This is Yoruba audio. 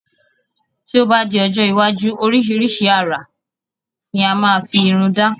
Tí o ba di ọjọ́ iwájú orisirisi àrà ni a máa fi Irun da